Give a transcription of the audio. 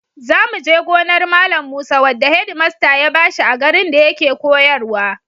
Za mu je gonar Malam Musa wadda hedimasta ya ba shi a garin da yake koyarwa.